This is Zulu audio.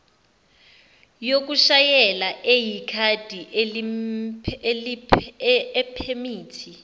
yokushayela eyikhadi iphemithi